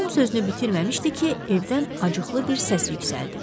Tom sözünü bitirməmişdi ki, evdən acıqlı bir səs yüksəldi.